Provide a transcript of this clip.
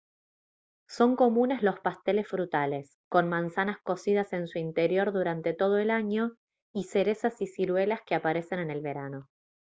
son comunes los pasteles frutales con manzanas cocidas en su interior durante todo el año y cerezas y ciruelas que aparecen en el verano